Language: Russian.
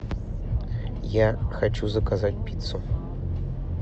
я хочу заказать пиццу